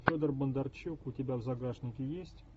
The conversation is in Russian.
федор бондарчук у тебя в загашнике есть